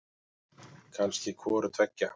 Kannski hvoru tveggja.